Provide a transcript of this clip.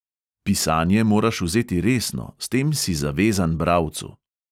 Pisanje moraš vzeti resno, s tem si zavezan bralcu.